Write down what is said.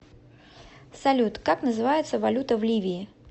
салют как называется валюта в ливии